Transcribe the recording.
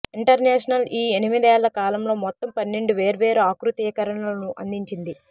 international ఈ ఎనిమిదేళ్ల కాలంలో మొత్తం పన్నెండు వేర్వేరు ఆకృతీకరణలను అందించింది